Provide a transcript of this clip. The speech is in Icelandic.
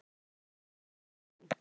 Kassettutæki ofan á honum.